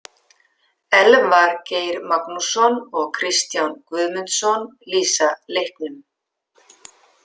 Elvar Geir Magnússon og Kristján Guðmundsson lýsa leiknum.